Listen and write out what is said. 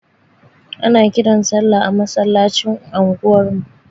Ana kiran sallah a masallacin anguwar mu.